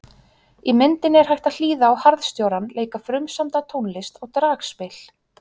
Í myndinni er hægt að hlýða á harðstjórann leika frumsamda tónlist á dragspil.